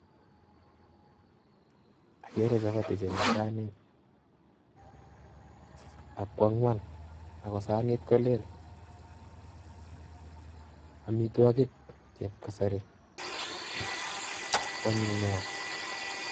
Akere chapati chemii saniit ak ko ang'wan ak ko saniit kolel, amitwokik chueb kasari kwonyiny neaa.